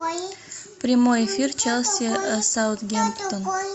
прямой эфир челси саутгемптон